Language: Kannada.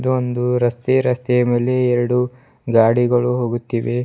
ಒಂದು ರಸ್ತೆ ರಸ್ತೆಯ ಮೇಲೆ ಎರಡು ಗಾಡಿಗಳು ಹೋಗುತ್ತಿವೆ.